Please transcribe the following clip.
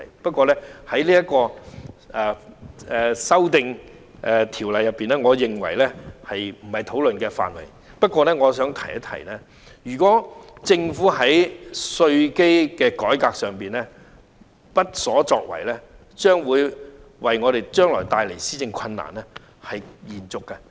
就這項《條例草案》，我知道稅基不是在討論的範圍，但我也想提及一下，如果政府在稅基的改革上無所作為，將會延續施政困難。